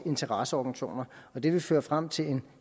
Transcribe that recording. interesseorganisationer det vil føre frem til en